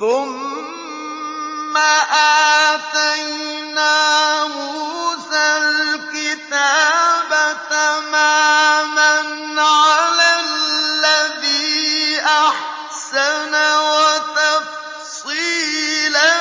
ثُمَّ آتَيْنَا مُوسَى الْكِتَابَ تَمَامًا عَلَى الَّذِي أَحْسَنَ وَتَفْصِيلًا